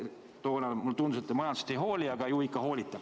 Toona mulle tundus, et te majandusest ei hooli, aga ju ikka hoolite.